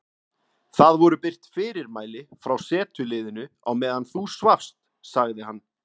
Það voru birt fyrirmæli frá setuliðinu á meðan þú svafst sagði hann.